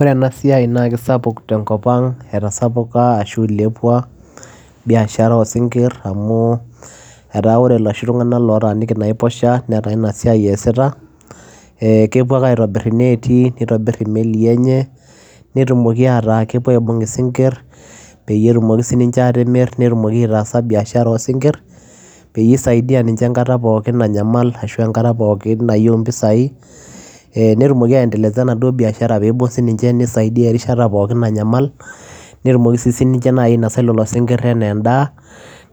Ore ena siai naa kisapuk tenkop aang .oree esiai oo sinkirr etaa oree ilntunganak otaaniki inaiposhaa netaa ina siai eesita kitobirr inetii oo melii netumokii aibunga isingirr nemirr nees biashara peyiee isaidia ninje enkata namanyal ashua enkataa nayieu mpisai netumokii ayendeleza biashara peyiee isaidia si ninye nenyaa enaa endaa